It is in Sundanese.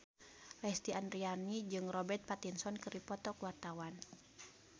Lesti Andryani jeung Robert Pattinson keur dipoto ku wartawan